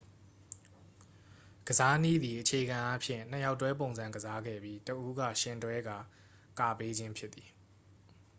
ကစားနည်းသည် အခြေခံအားဖြင့် နှစ်ယောက်တွဲပုံစံကစားခဲ့ပြီး တစ် ဦးက ယှဉ်တွဲကာ ကာပေးခြင်းဖြစ်သည်